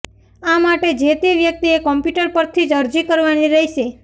આ માટે જે તે વ્યક્તિએ કોમ્પ્યુટર પરથી જ અરજી કરવાની રહેશે